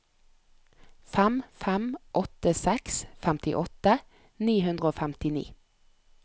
fem fem åtte seks femtiåtte ni hundre og femtini